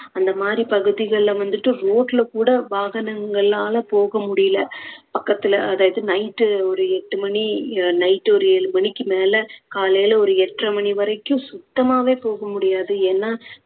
அந்த மாதிரி பகுதிகளில வந்துட்டு road ல கூட வாகனங்களால போக முடியல, பக்கத்துல அதாவது night உ ஒரு எட்டு மணி night ஒரு ஏழு மணிக்கு மேல காலையில ஒரு எட்டரை மணி வரைக்கும் சுத்தமாவே போக முடியாது, ஏன்னா